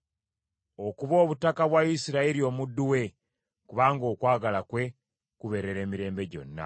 Okuba obutaka bwa Isirayiri omuddu we, kubanga okwagala kwe kubeerera emirembe gyonna.